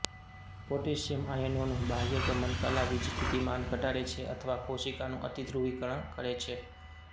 potassium આયનોનું બાહ્યગમન કલા વીજસ્થિતિમાન ઘટાડે છે અથવા કોશિકાનું અતિધ્રુવીકરણ કરે છે